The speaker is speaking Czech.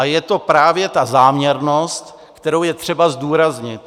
A je to právě ta záměrnost, kterou je třeba zdůraznit.